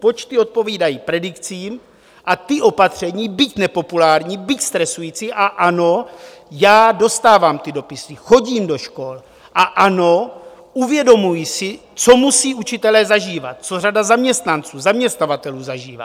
Počty odpovídají predikcím, a ta opatření, byť nepopulární, byť stresující, a ano, já dostávám ty dopisy, chodím do škol, a ano, uvědomuji si, co musí učitelé zažívat, co řada zaměstnanců, zaměstnavatelů zažívá.